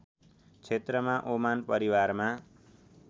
क्षेत्रमा ओमान परिवारमा